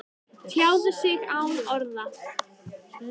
Tjáð sig án orða